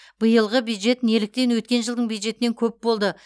биылғы бюджет неліктен өткен жылдың бюджетінен көп болды